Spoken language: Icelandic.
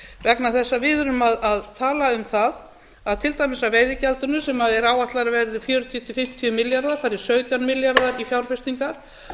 vegna þess að við erum að tala um það að til dæmis af veiðigjaldinu sem er áætlað að verði fjörutíu til fimmtíu milljarðar fari sautján milljarðar í fjárfestingar